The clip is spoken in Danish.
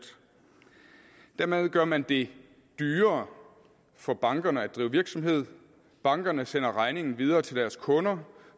dermed gør man det dyrere for bankerne at drive virksomhed bankerne sender regningen videre til deres kunder